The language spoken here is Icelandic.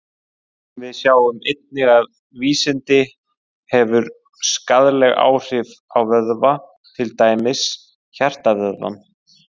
Við sjáum einnig að vínandi hefur skaðleg áhrif á vöðva, til dæmis hjartavöðvann.